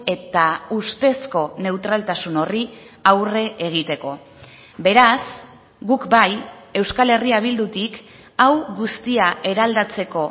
eta ustezko neutraltasun horri aurre egiteko beraz guk bai euskal herria bildutik hau guztia eraldatzeko